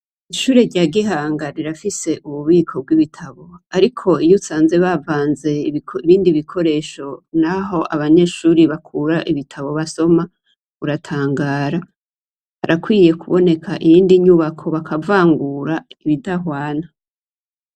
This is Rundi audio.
Ishure rya Gihanga rirafise ububiko bw'ibitabo ariko iyo usanze bavanze ibindi bikoresho ngaho abanyeshure bakura ibitabo basoma, uratangara. Harakwiye kuboneka iyindi nyubako bakavangura ibidahwana.